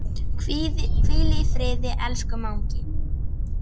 Hvíl í friði, elsku mágur.